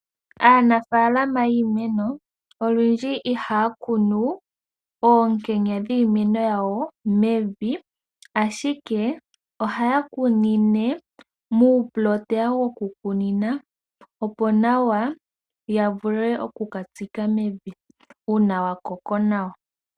Aanafalama yiimeno olundji ihaakunu oonkenya dhiimeno yawo mevi ashike ohaya kunine muuplota woku kunina opo nawa yavule okuka tsika mevi una wakoko nawa.